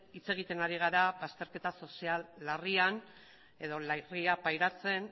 hitz egiten ari gara bazterketa sozial larria pairatzen